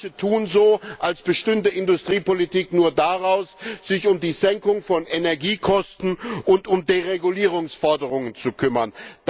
Manche tun so, als bestünde Industriepolitik nur daraus, sich um die Senkung von Energiekosten und um Deregulierungsforderungen zu kümmern.